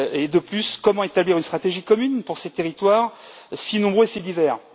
De plus, comment établir une stratégie commune pour ces territoires si nombreux et si divers?